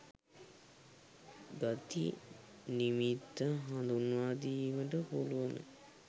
ගති නිමිත්ත හඳුන්වාදීමට පුළුවන.